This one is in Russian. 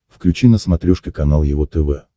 включи на смотрешке канал его тв